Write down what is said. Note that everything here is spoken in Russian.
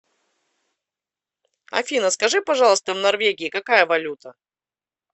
афина скажи пожалуйста в норвегии какая валюта